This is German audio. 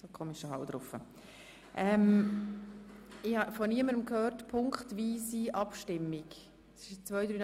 Ich habe von niemandem gehört, dass ziffernweise Abstimmung beantragt wird.